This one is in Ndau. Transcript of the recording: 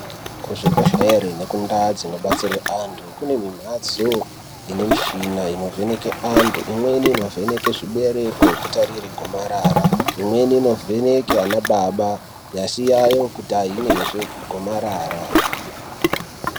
Kuzvibhedhlere nekundau dzinobatsirwe vantu kune mimhatso ine mishina inovheneke antu imweni inovheneke zvibereko kutatire gomarara. Imweni inovheneke ana baba nyasi yayo kuti hainazve gomarara.